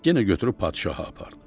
Yenə götürüb padşaha apardı.